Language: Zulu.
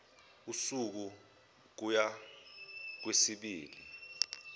usuku kuya kwezimbili